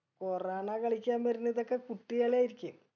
corona കളിക്കാൻ വരുന്നതൊക്കെ കുട്ടികളായിരിക്കും